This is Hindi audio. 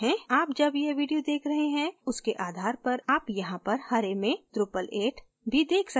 आप जब यह video देख रहे हैं उसके आधार पर आप यहाँ पर हरे में drupal 8 भी देख सकते हैं